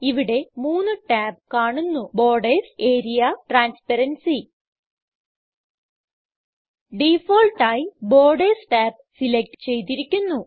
ഇവിടെ മൂന്ന് ടാബ് കാണുന്നു ബോർഡർസ് ആരിയ ട്രാൻസ്പറൻസി ഡിഫാൾട്ട് ആയി ബോർഡർസ് ടാബ് സിലക്റ്റ് ചെയ്തിരിക്കുന്നു